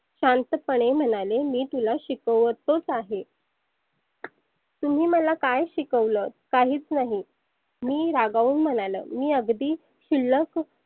शांत पणे म्हणाले मी तुला शिकवतच आहे. तुम्ही मला काय शिकवलं काहीच नाही. मी रागाऊन म्हणालो मी अगदी शुल्लक